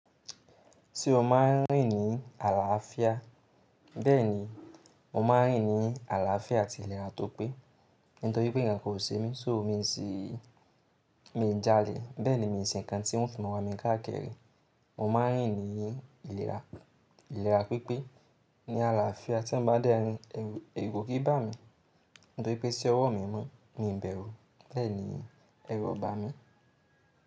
Tí ó ma ń rìn ní àlàáfíà, bẹ́ẹ̀ni, mo ma ń rìn ní àlàáfíà àti ìlera tó pé. Nítorí pé nǹkan kò ṣe mí, só mi sì mi ń jalè bẹ́ẹ̀ni, mi sé nǹkan tí wọ́n fi mọ̀ wá mi káàkiri. Mo ma ń rìn ní ìlera pípé ní àlàáfíà tí ń bá dẹ́rin, ẹ̀rù ó kí bá mi. Nítorí pé iṣẹ́ ọwọ́ mi mọ́ mi ń bẹ̀rù bẹ́ẹ̀ni, ẹ̀rù ó bá mi.